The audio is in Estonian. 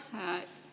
Aitäh!